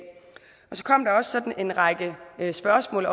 så kom der også en række spørgsmål